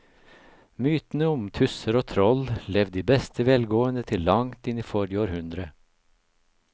Mytene om tusser og troll levde i beste velgående til langt inn i forrige århundre.